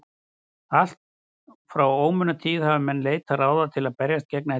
allt frá ómunatíð hafa menn leitað ráða til að berjast gegn ellinni